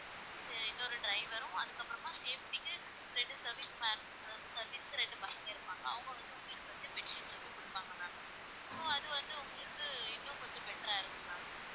இன்னொரு டிரைவரும் அதுக்கப்புறமா safety க்கு ரெண்டு service man service க்கு ரெண்டு பசங்க இருப்பாங்க அவங்க வந்து உங்களுக்கு வந்து bedsheet வந்து கொடுப்பாங்க ma'am so அது வந்து உங்களுக்கு இன்னும் கொஞ்சம் better இருக்கும் ma'am